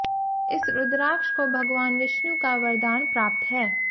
इस रुद्राक्ष को भगवान विष्णु का वरदान प्राप्त है